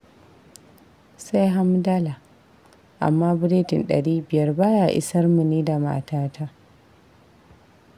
Sai hamdala. Amma biredin ɗari biyar ba ya isar mu ni da matata